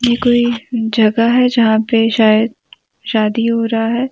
ये कोई जगह है जहां पे शायद शादी हो रहा है।